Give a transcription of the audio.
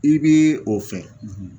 I bii o fɛ